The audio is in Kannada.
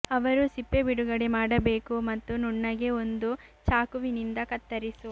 ಅವರು ಸಿಪ್ಪೆ ಬಿಡುಗಡೆ ಮಾಡಬೇಕು ಮತ್ತು ನುಣ್ಣಗೆ ಒಂದು ಚಾಕುವಿನಿಂದ ಕತ್ತರಿಸು